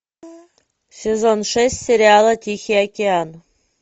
сезон шесть сериала тихий океан